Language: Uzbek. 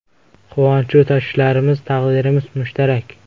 Quvonchu tashvishlarimiz, taqdirimiz mushtarak.